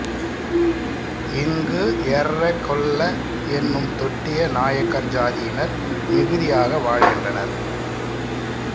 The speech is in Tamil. இங்கு எர்ர கொல்ல என்னும் தொட்டிய நாயக்கர் சாதியினர் மிகுதியாக வாழ்கின்றனர்